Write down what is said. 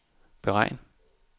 beregn